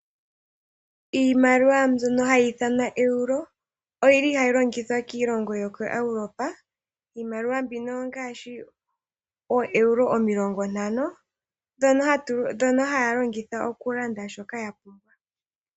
Iimaliwa mbyono hayi ithanwa Euro oyili hayi longithwa kiilongo yokoEuropa. Iimaliwa mbino ongaashi ooeuro omilongo ntano ndhono haya longitha okulanda shoka ya pumbwa.